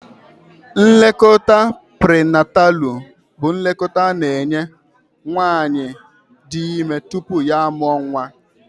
Nlekọta prinatalụ bụ nlekọta a na-enye nwaanyị di ime tupu ya amụọ nwa.